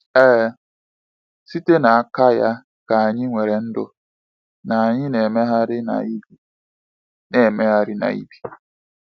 Ee, “site n’aka ya ka anyị nwere ndụ, na anyị na-emegharị na ibi.” na-emegharị na ibi.”